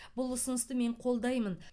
бұл ұсынысты мен қолдаймын